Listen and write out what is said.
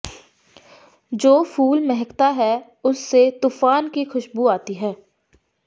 ਜੋ ਫੂਲ ਮਹਕਤਾ ਹੈ ਉਸਸੇ ਤੂਫ਼ਾਨ ਕੀ ਖ਼ੁਸ਼ਬੂ ਆਤੀ ਹੈ